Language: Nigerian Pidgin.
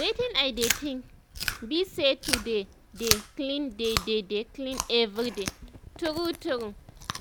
wetin i dey think bi say to dey dey clean dey dey clean everyday true true